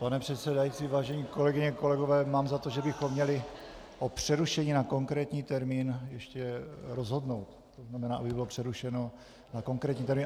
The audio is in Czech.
Pane předsedající, vážené kolegyně, kolegové, mám za to, že bychom měli o přerušení na konkrétní termín ještě rozhodnout, to znamená, aby bylo přerušeno na konkrétní termín.